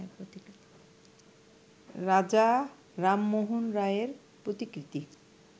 রাজা রামমোহন রায়ের প্রতিকৃতি